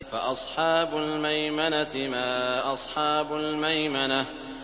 فَأَصْحَابُ الْمَيْمَنَةِ مَا أَصْحَابُ الْمَيْمَنَةِ